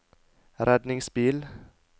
redningsbil